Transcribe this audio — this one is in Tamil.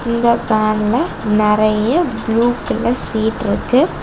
இந்த வேன்ல நிறைய ப்ளூ கலர் சீட் இருக்கு.